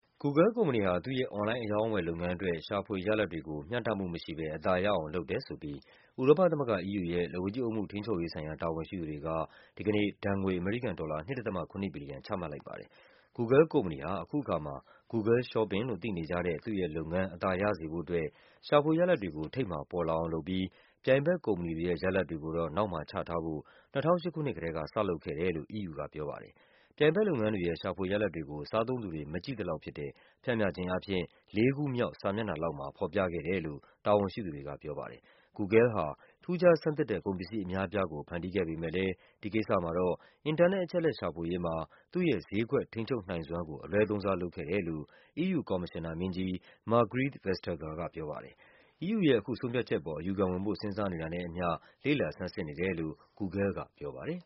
Google ကုမ္ပဏီဟာ သူ့ရဲ့ အွန်လိုင်း အရောင်းအဝယ်လုပ်ငန်းအတွက် ရှာဖွေရလာဒ်ကို မျှတမှုမရှိဘဲ အသာရအောင် လုပ်တယ် ဆိုပြီး ဥရောပသမဂ္ဂ EU ရဲ့ လက်ဝါးကြီးအုပ်မှု ထိန်းချုပ်ရေးဆိုင်ရာ တာဝန်ရှိသူတွေက ဒီကနေ့ ဒဏ်ငွေ အမေရိကန်ဒေါ်လာ ၂.၇ ဘီလီယံ ချမှတ်လိုက်ပါတယ်။ Google ကုမ္ပဏီဟာ အခုအခါမှာ Google Shopping လို့သိနေကြတဲ့ သူ့ရဲ့လုပ်ငန်း အသာရစေဖို့အတွက် ရှာဖွေရလာဒ်တွေကို ထိပ်မှာပေါ်လာအောင်လုပ်ပြီး ပြိုင်ဘက်ကုမ္ပဏီတွေရဲ့ ရလာဒ်တွေကိုတော့ နောက်မှာချထားဖို့ ၂၀၀၈ ခုနှစ်ကတည်းက စလုပ်ခဲ့ တယ်လို့ EU ကပြောပါတယ်။ ပြိုင်ဘက်လုပ်ငန်းတွေရဲ့ ရှာဖွေရလာဒ်တွေကို စားသုံးသူတွေ မကြည့်သလောက်ဖြစ်တဲ့ ပျှမ်းမျှခြင်းအားဖြင့် ၄ ခုမြောက် စာမျက် နှာလောက်မှာ ဖော်ပြခဲ့တယ်လို့ တာဝန်ရှိသူတွေက ပြောပါတယ်။ Google ဟာ ထူးခြားဆန်းသစ်တဲ့ ကုန်ပစ္စည်းအများအပြားကို ဖန်တီးခဲ့ပေမဲ့လဲ ဒီကိစ္စမှာတော့ အင်တာနက် အချက်အလက် ရှာဖွေရေးမှာ သူ့ရဲ့ ဈေးကွက် ထိန်းချုပ်နိုင်စွမ်းကို အလွဲသုံးစားလုပ်ခဲ့တယ်လို့ EU ကော်မရှင်နာမင်းကြီး Margrethe Vestager က ပြောပါတယ်။ EU ရဲ့ အခုဆုံးဖြတ်ချက်အပေါ် အယူခံဝင်ဖို့ စဉ်းစားနေတာနဲ့အမျှ လေ့လာဆန်းစစ်နေတယ်လို့ Google ကပြောပါတယ်